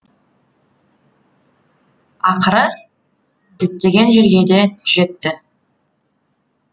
ақыры діттеген жерге де жетті